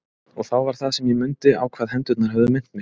Og þá var það sem ég mundi á hvað hendurnar höfðu minnt mig.